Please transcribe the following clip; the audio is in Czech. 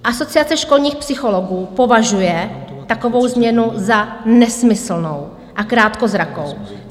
Asociace školních psychologů považuje takovou změnu za nesmyslnou a krátkozrakou.